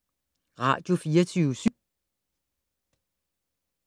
Radio24syv